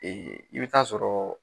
i be taa sɔrɔɔ